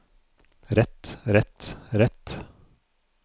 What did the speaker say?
rett rett rett